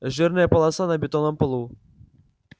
жирная полоса на бетонном полу